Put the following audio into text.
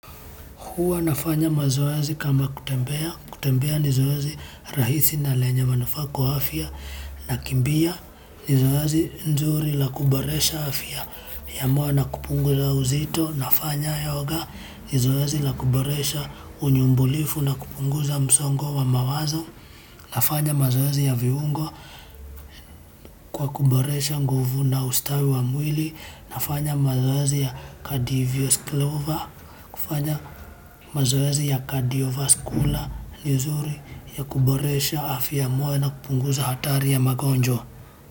Huwa nafanya mazoezi kama kutembea. Kutembea ni zoezi rahisi na lenye manufaa kwa afya. Nakimbia, ni zoezi nzuri la kuboresha afya. Ambayo ni na kupunguza uzito. Nafanya yoga, ni zoezi la kuboresha unyumbulifu na kupunguza msongo wa mawazo. Nafanya mazoezi ya viungo kwa kuboresha nguvu na ustawi wa mwili. Nafanya mazoezi ya cardio vascular, ni nzuri ya kuboresha afya ya moyo na kupunguza hatari ya magonjwa.